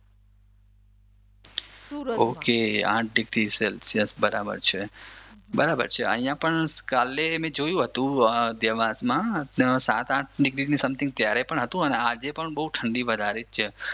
okay આઠડિગ્રી Celsius બરાબર છે અહિયાં પણ કાલે મે જોયું જ હતું દેવાંશમાં સાત આઠ ડિગ્રીની સમથિંગ ત્યાંરે પણ હતું અને આજે પણ બહુ ઠંડી વધારે જ છે